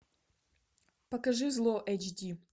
покажи зло эйч ди